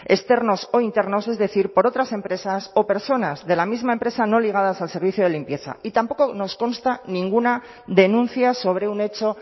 externos o internos es decir por otras empresas o personas de la misma empresa no ligadas al servicio de limpieza y tampoco nos consta ninguna denuncia sobre un hecho